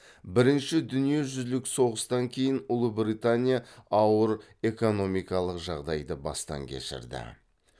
бірінші дүниежүзілік соғыстан кейін ұлыбритания ауыр экономикалық жағдайды бастан кешірді